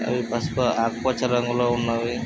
ఇవి పసుపు ఆకుపచ్చ రంగులో ఉన్నవి.